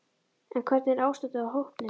En hvernig var ástandið á hópnum?